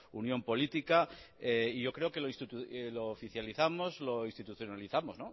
unión política yo creo que lo oficializamos lo institucionalizamos